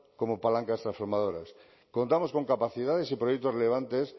como palancas transformadoras contamos con capacidades y proyectos relevantes